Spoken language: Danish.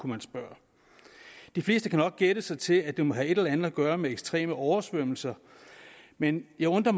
man spørge de fleste kan nok gætte sig til at det må have et eller andet at gøre med ekstreme oversvømmelser men jeg undrer